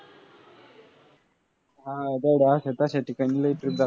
हां गड्या अशा तशा ठिकाणी लय trip जातात.